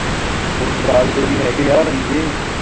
ਪੁਰਤਗਾਲ ਦੇ ਵੀ ਹੈਗੇ ਆ ਵੀਸਾ